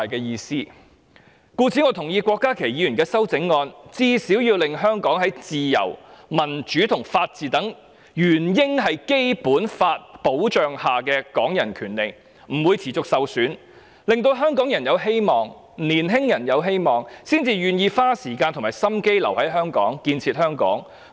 因此，我同意郭家麒議員的修正案，最低限度它是要使香港在"自由、民主及法治等原應在基本法保障下的港人權利"不會持續受損，令香港人有希望、令青年人有希望，這樣他們才會願意花時間和心機留在香港、建設香港。